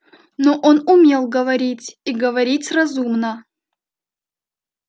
но он умел говорить и говорить разумно